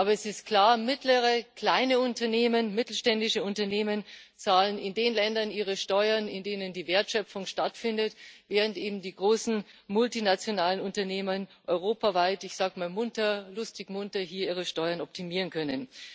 Aber es ist klar Mittlere, kleine Unternehmen, mittelständische Unternehmen zahlen in den Ländern ihre Steuern, in denen die Wertschöpfung stattfindet, während eben die großen multinationalen Unternehmen europaweit lustig und munter ihre Steuern optimieren können.